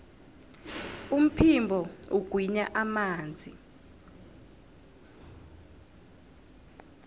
umphimbo ugwinya amanzi